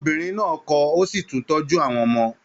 Obìnrin náà kọ, o si tún tọ́jú àwọn ọmọ.